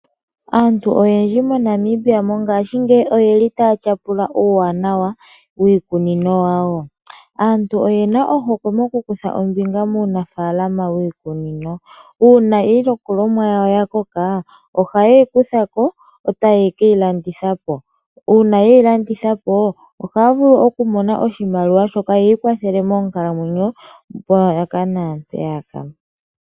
Aantu oyendji moNamibia mongashingeyi oye li taya tyapula uuwanawa wiikunino yawo. Aantu oyena ohokwe moku kutha ombinga muunafaalama wiikunino. Uuna iilikolomwa yawo yakoka ohayeyi kuthako etaye keyilanditha po. Uuna yeyi landitha po ohaya vulu oku mona oshimaliwa shoka yiikwathele moonkalamwenyo mpaka naampeyaka.